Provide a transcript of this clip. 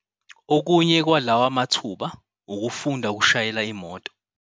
Okunye kwalawa mathuba ukufunda ukushayela imoto.